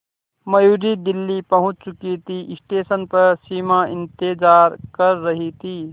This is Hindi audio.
मयूरी दिल्ली पहुंच चुकी थी स्टेशन पर सिमा इंतेज़ार कर रही थी